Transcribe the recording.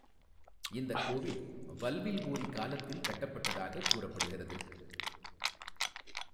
இந்த கோவில் வல்வில்ஓாி காலத்தில் கட்டப்பட்டதாக கூறப்படுகிறது.